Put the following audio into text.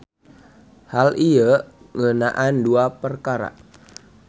Hal ieu ngeunaan duap perkara.